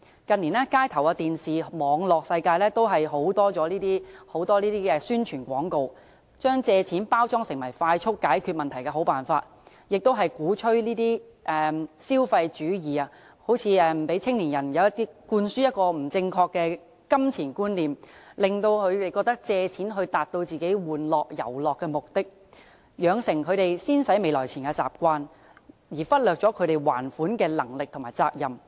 近年，街頭、電視，以至網絡世界都充斥這些宣傳廣告，把借錢包裝成為快速解決問題的好辦法，鼓吹消費主義，向年青人灌輸不正確的金錢觀念，令他們覺得可以借錢達到自己玩樂、遊樂的目的，養成他們"先使未來錢"的習慣，忽略他們還款的能力及責任。